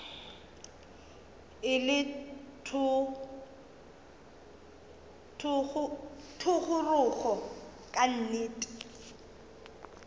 e le thogorogo ka nnete